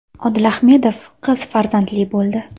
Odil Ahmedov qiz farzandli bo‘ldi.